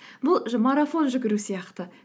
бұл марафон жүгіру сияқты